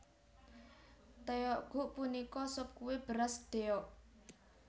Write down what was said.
Tteokguk punika sop kué beras ddeok